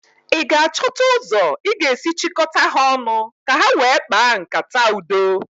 ị ga-achọta ụzọ ị ga-esi chịkọta ha ọnụ ka ha wee kpaa nkata Udo?